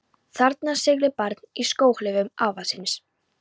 Þarna siglir barn í skóhlífum afa síns.